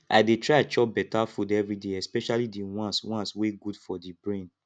i dey try chop beta food everyday especially the ones ones wey good for the brain